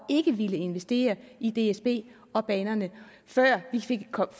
ikke villet investere i dsb og banerne ikke før vi fik